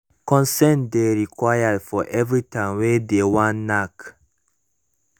consent de required for everytime wey de wan knack